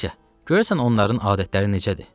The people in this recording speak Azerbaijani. Valsya, görəsən onların adətləri necədir?